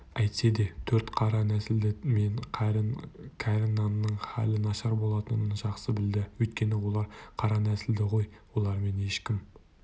әйтсе де төрт қара нәсілді мен кәрі нанның хәлі нашар болатынын жақсы білді өйткені олар қара нәсілді ғой олармен ешкім